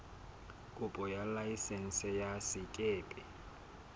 kopo ya laesense ya sekepe